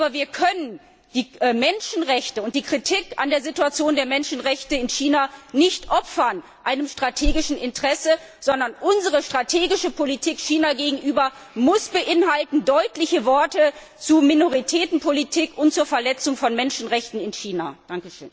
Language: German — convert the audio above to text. Aber wir können die Menschenrechte und die Kritik an der Situation der Menschenrechte in China nicht einem strategischen Interesse opfern, sondern unsere strategische Politik China gegenüber muss deutliche Worte zur Minoritätenpolitik und zur Verletzung von Menschenrechten in China beinhalten!